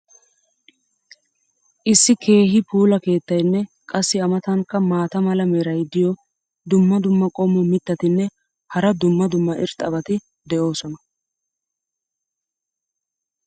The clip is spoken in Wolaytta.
issi keehi puula keettaynne qassi a matankka maata mala meray diyo dumma dumma qommo mitattinne hara dumma dumma irxxabati de'oosona.